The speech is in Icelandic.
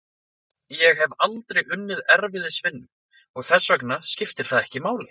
Ég hef aldrei unnið erfiðisvinnu, og þess vegna skiptir það ekki máli.